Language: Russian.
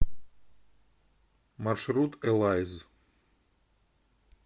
маршрут элайз